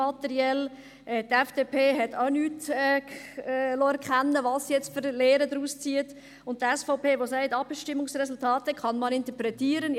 Die FDP hat auch nicht erkennen lassen, welche Lehren sie nun daraus zieht, und die SVP sagt: «Abstimmungsresultate kann man interpretieren.»